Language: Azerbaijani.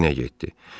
O da Kinə getdi.